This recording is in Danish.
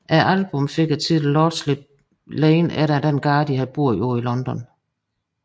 Albummet fik titlen Lordship Lane efter den gade de havde boet på i London